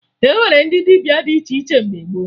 E nwere ndị dibịa dị iche iche mgbe gboo